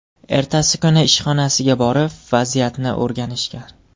Ertasi kuni ishxonasiga borib vaziyatni o‘rganishgan.